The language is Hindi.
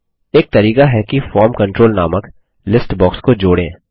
एक तरीका है कि फॉर्म कंट्रोल नामक लिस्ट बॉक्स को जोड़ें